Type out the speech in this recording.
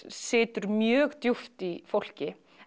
situr mjög djúp í fólki